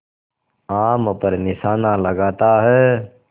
आम पर निशाना लगाता है